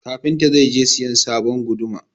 Kafinta zai je sayan sabon guduma.